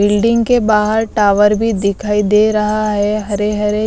Building के बाहर tower भी दिखाई दे रहा है हरे हरे।